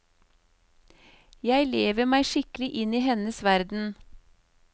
Jeg lever meg skikkelig inn i hennes verden.